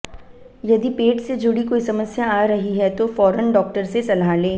यदि पेट से जुड़ी कोई समस्या आ रही है तो फौरन डॉक्टर से सलाह लें